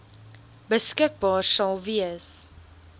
beskikbaar sal wees